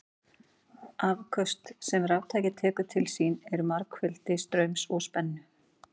Afköst sem raftæki tekur til sín eru margfeldi straums og spennu.